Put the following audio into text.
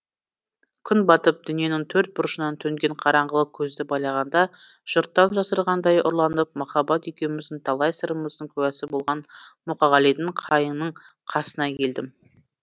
күн батып дүниенің төрт бұрышынан төнген қараңғылық көзді байлағанда жұрттан жасырынғандай ұрланып махаббат екеуміздің талай сырымыздың куәсі болған мұқағалидың қайыңның қасына келдім